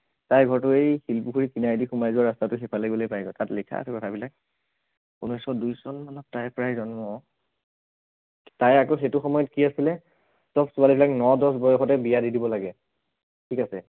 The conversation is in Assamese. তাই ঘৰটো সেই শিলপুখুৰীৰ কিনাৰেদি সোমাই যোৱা ৰাস্তাটো সিফালে গলেই পায়গৈ তাত লিখা আছে কথাবিলাক ঊনৈছশ দুই চন মানত তাইৰ প্ৰায় জন্ম তাইৰ আকৌ সেইটো সময়ত কি আছিলে সৱ ছোৱালী বিলাক ন দহ বয়সতে বিয়া দি দিব লাগে, ঠিক আছে